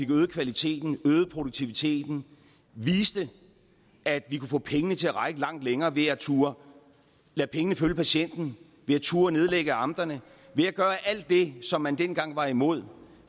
øget kvaliteten øget produktiviteten viste at vi kunne få pengene til at række meget længere ved at turde lade pengene følge patienten ved at turde nedlægge amterne ved at gøre alt det som man dengang var imod